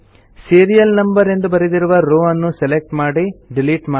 serial Numberಎಂದು ಬರೆದಿರುವ row ನ್ನು ಸೆಲೆಕ್ಟ್ ಮಾಡಿ ಡಿಲಿಟ್ ಮಾಡಿ